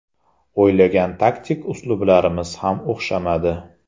O‘ylagan taktik uslublarimiz ham o‘xshamadi.